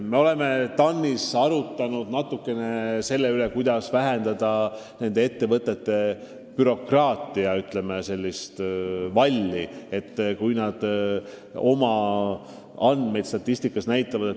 Me oleme TAN-is arutanud, kuidas vähendada nende ettevõtete n-ö bürokraatiavalli, kui nad oma andmeid statistikas näitavad.